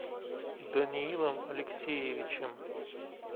даниилом алексеевичем